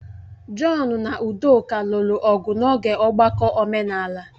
John na udoka lụrụ ọgụ n'oge ọgbakọ omenala.